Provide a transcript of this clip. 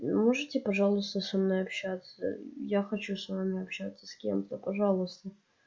можете пожалуйста со мной общаться я хочу с вами общаться с кем-то пожалуйста